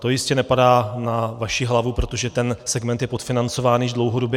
To jistě nepadá na vaši hlavu, protože ten segment je podfinancovaný již dlouhodobě.